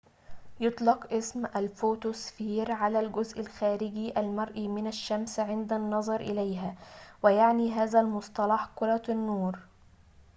يطلق اسم الفوتو سفير على الجزء الخارجي المرئي من الشمس عند النظر إليها ويعني ذلك المصطلح كرة النور